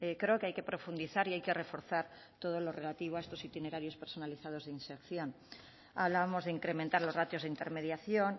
creo que hay que profundizar y hay que reforzar todo lo relativo a estos itinerarios personalizados de inserción hablábamos de incrementar los ratios de intermediación